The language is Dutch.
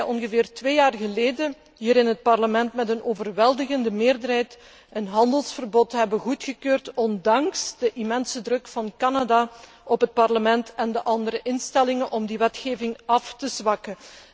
Ongeveer twee jaar geleden hebben wij hier in het Parlement met een overweldigende meerderheid een handelsverbod goedgekeurd, ondanks de immense druk van Canada op het Parlement en op de andere instellingen om die wetgeving af te zwakken.